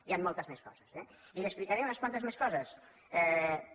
hi han moltes més coses eh i li explicaré unes quantes coses més